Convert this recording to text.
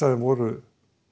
af þeim voru